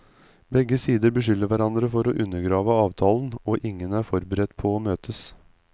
Begge sider beskylder hverandre for å undergrave avtalen, og ingen er forberedt på å møtes.